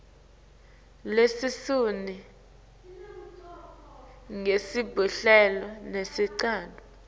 lelishumi nesihlanu leyengcile